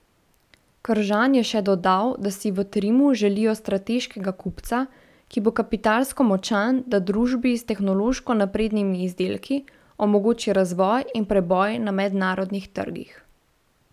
Kržan je še dodal, da si v Trimu želijo strateškega kupca, ki bo kapitalsko močan, da družbi s tehnološko naprednimi izdelki omogoči razvoj in preboj na mednarodnih trgih.